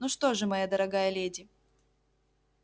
ну что же моя дорогая леди